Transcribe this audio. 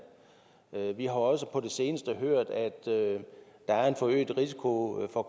vi har også på det seneste hørt at der er en forøget risiko for